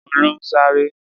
Olú ń ṣàárẹ̀.